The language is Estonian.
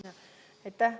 Aitäh!